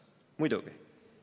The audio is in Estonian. "Muidugi.